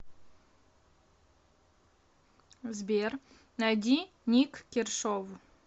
сбер найди ник кершов